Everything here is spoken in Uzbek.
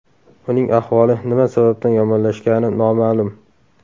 Uning ahvoli nima sababdan yomonlashgani noma’lum.